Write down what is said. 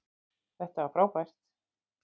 Þetta var frábært!